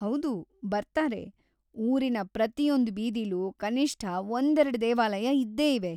ಹೌದು, ಬರ್ತಾರೆ. ಊರಿನ ಪ್ರತಿಯೊಂದ್‌ ಬೀದಿಲೂ ಕನಿಷ್ಠ ಒಂದೆರ್ಡು ದೇವಾಲಯ ಇದ್ದೇಇವೆ.